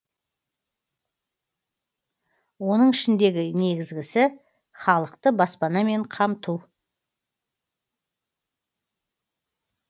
оның ішіндегі негізгісі халықты баспанамен қамту